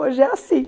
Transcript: Hoje é assim.